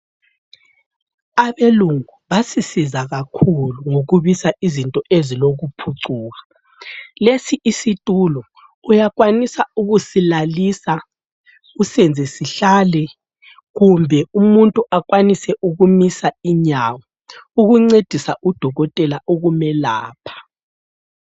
Abelungu basisiza kakhulu ngokubisa izinto eziloku phucuka lesi isitulo uyakwanisa ukusilalisa, usiyenze sihlale, kumbe umuntu ekwanise ukumisa inyawo ukuncedisa udokotela ukumelapha.